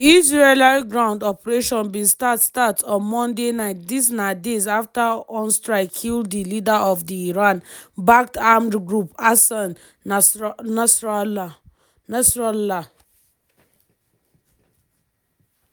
di israeli ground operation bin start start on monday night dis na days afta on strike kill di leader of di iran-backed armed group hassan nasrallah.